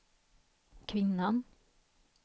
kvinnan